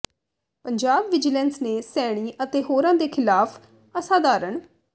Punjab vigilance ਨੇ ਸੈਣੀ ਅਤੇ ਹੋਰਾਂ ਦੇ ਖਿਲਾਫ ਅਸਾਧਾਰਣ